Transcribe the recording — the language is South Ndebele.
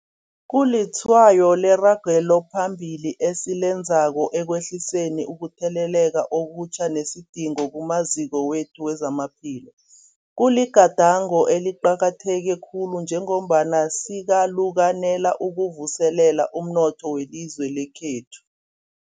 Kulitshwayo leragelo phambili esilenzako ekwehliseni ukutheleleka okutjha nesidingo kumaziko wethu wezamaphilo. Kuligadango eliqakatheke khulu njengombana sikalukanela ukuvuselela umnotho welizwe lekhethu.